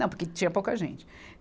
Não, porque tinha pouca gente.